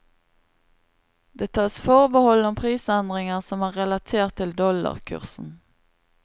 Det tas forbehold for prisendringer, som er relatert til dollarkursen.